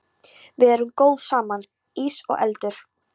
Við erum góð saman, ís og eldur.